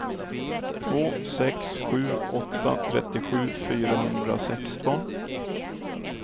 två sex sju åtta trettiosju fyrahundrasexton